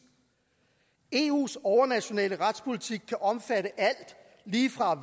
eus overnationale retspolitik kan omfatte alt lige fra